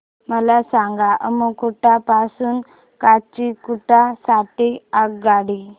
मला सांगा अम्मुगुडा पासून काचीगुडा साठी आगगाडी